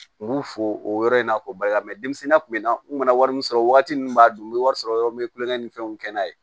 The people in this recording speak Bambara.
U b'u fo o yɔrɔ in na k'o bali mɛ denmisɛnninya tun bɛ na u nana wari min sɔrɔ waati min b'a dun n bɛ wari sɔrɔ yɔrɔ n bɛ kulonkɛ ni fɛnw kɛ n'a ye